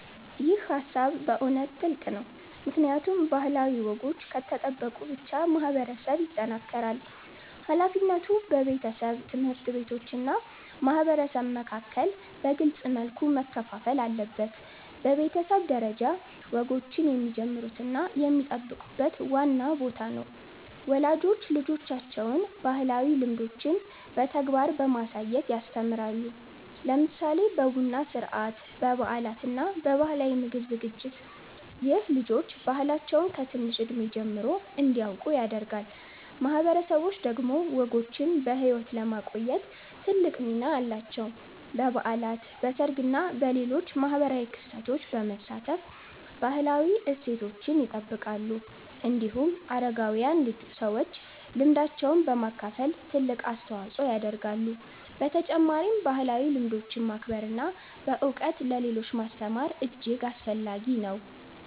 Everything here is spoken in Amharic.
ይህ ሃሳብ በእውነት ጥልቅ ነው፣ ምክንያቱም ባህላዊ ወጎች ከተጠበቁ ብቻ ማህበረሰብ ይጠናከራል። ሃላፊነቱ በቤተሰብ፣ ትምህርት ቤቶች እና ማህበረሰብ መካከል በግልጽ መልኩ መከፋፈል አለበት። በቤተሰብ ደረጃ፣ ወጎችን የሚጀምሩት እና የሚጠብቁት ዋና ቦታ ነው። ወላጆች ልጆቻቸውን ባህላዊ ልምዶችን በተግባር በማሳየት ያስተምራሉ፣ ለምሳሌ በቡና ሥርዓት፣ በበዓላት እና በባህላዊ ምግብ ዝግጅት። ይህ ልጆች ባህላቸውን ከትንሽ እድሜ ጀምሮ እንዲያውቁ ያደርጋል። ማህበረሰቦች ደግሞ ወጎችን በሕይወት ለማቆየት ትልቅ ሚና አላቸው። በበዓላት፣ በሰርግ እና በሌሎች ማህበራዊ ክስተቶች በመሳተፍ ባህላዊ እሴቶችን ይጠብቃሉ። እንዲሁም አረጋዊያን ሰዎች ልምዳቸውን በማካፈል ትልቅ አስተዋጽኦ ያደርጋሉ። በተጨማሪም ባህላዊ ልምዶችን ማክበር እና በእውቀት ለሌሎች ማስተማር እጅግ አስፈላጊ ነው።